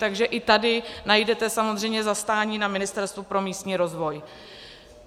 Takže i tady najdete samozřejmě zastání na Ministerstvu pro místní rozvoj.